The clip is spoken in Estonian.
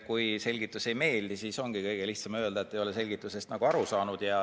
Kui selgitus ei meeldi, siis ongi kõige lihtsam öelda, et ei ole selgitusest nagu aru saanud.